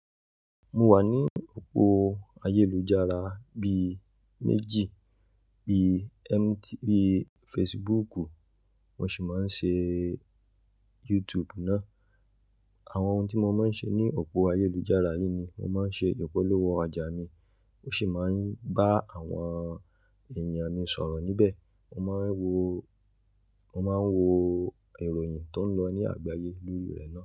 Mo wà ní òpó ayélujára bíi méjì, bíi MTV, Facebook, mo sì máa ń ṣe YouTube náà. Àwọn ohun tí mo máa ń ṣe ní òpó ayélujára yìí ni mo máa ń ṣe ìpolówó ọjà mi, ó sì máa ń bá àwọn èèyàn mi sọ̀rọ̀ níbẹ̀. Mo máa ń wo, mo máa ń wo ìròyìn tó ń lọ ní àgbáyé lórí rẹ̀ náà.